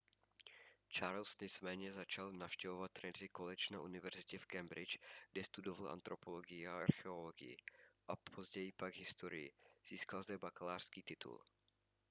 charles nicméně začal navštěvovat trinity college na univerzitě v cambridge kde studoval antropologii a archeologii později pak historii získal zde bakalářský titul